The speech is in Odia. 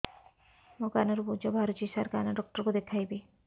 ମୋ କାନରୁ ପୁଜ ବାହାରୁଛି ସାର କାନ ଡକ୍ଟର କୁ ଦେଖାଇବି